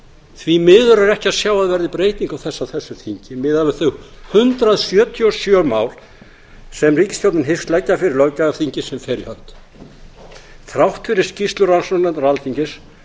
því miður er ekki að sjá að það veðri breyting á þessu á þessu þingi miðað við þau hundrað sjötíu og sjö mál sem ríkisstjórnin hyggst leggja fyrir löggjafarþingið sem fer í hönd þrátt fyrir skýrslu rannsóknarnefndar alþingis